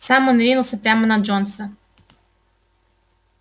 сам он ринулся прямо на джонса